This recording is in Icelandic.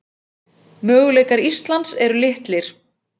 Möguleikar Íslands eru litlir